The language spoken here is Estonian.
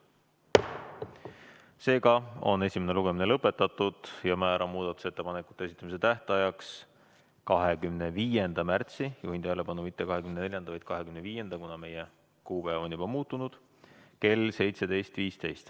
Seega on esimene lugemine lõpetatud ja määran muudatusettepanekute esitamise tähtajaks 25. märtsi – juhin tähelepanu, mitte 24., vaid 25. märtsi, kuna meie kuupäev on juba muutunud – kell 17.15.